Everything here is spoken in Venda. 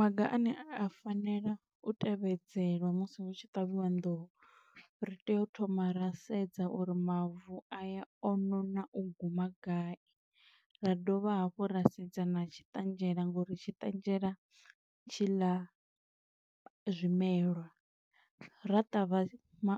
Maga ane a fanela u tevhedzelwa musi hu tshi ṱavhiwa nḓuhu. Ri tea u thoma ra sedza uri mavu aya o nona u guma gai, ra dovha hafhu ra sedza na tshi ṱanzhela ngo uri tshiṱanzhela tshi ḽa zwimelwa, ra ṱavha ma